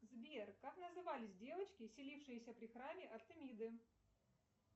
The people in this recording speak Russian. сбер как назывались девочки селившиеся при храме артемиды